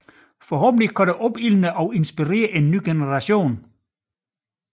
Forhåbentlig opildnerne og inspirerer det en ny generation